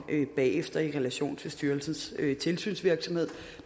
bagefter i relation til styrelsens tilsynsvirksomhed